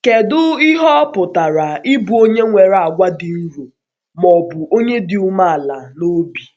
Kedu ihe ọ pụtara ịbụ onye nwere àgwà dị nro, ma ọ bụ onye dị umeala n’obi?